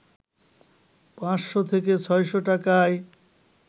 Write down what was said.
৫শ’ থেকে ৬শ’ টাকায়